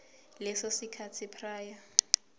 leso sikhathi prior